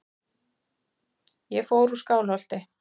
Ég fór úr Skálholti.